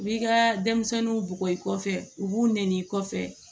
U b'i ka denmisɛnninw bugɔ i kɔfɛ u b'u nɛni kɔfɛ